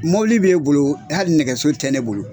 Mɔbili bɛ e bolo, hali nɛgɛso tɛ e bolo.